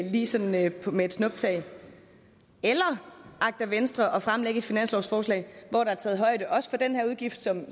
lige sådan med et snuptag eller agter venstre at fremlægge et finanslovsforslag hvor der er taget højde også for den her udgift som